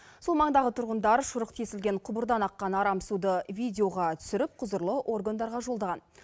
сол маңдағы тұрғындар шұрық тесілген құбырдан аққан арам суды видеоға түсіріп құзырлы органдарға жолдаған